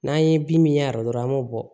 N'an ye bin min ye aradukɔrɔ an b'o bɔ